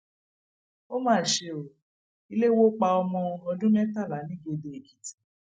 ó mà ṣe ọ ilé wò pa ọmọ ọdún mẹtàlá nìgédé èkìtì